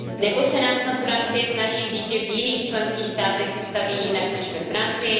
Nebo se nám snad Francie snaží říct, že v jiných členských státech se staví jinak než ve Francii?